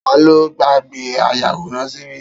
Ta ló gbàgbé ayàwòrán ṣíbí?